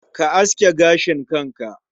Ka aske gashin kanka.